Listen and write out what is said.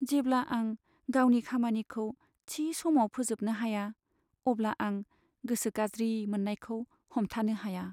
जेब्ला आं गावनि खामानिखौ थि समाव फोजोबनो हाया अब्ला आं गोसो गाज्रि मोन्नायखौ हमथानो हाया।